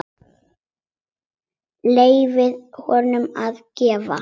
Leyfa honum að gista.